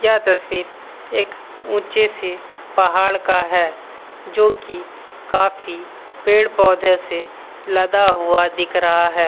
यह तस्वीर एक ऊंचे से पहाड़ का है जो की काफी पेड़-पौधों से लदा हुआ दिख रहा है।